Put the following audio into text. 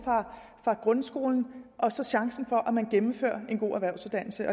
fra grundskolen og så chancen for at man gennemfører en god erhvervsuddannelse